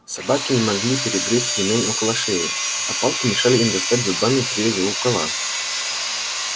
собаки не могли перегрызть ремень около шеи а палки мешали им достать зубами привязь у кола